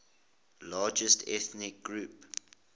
largest ethnic groups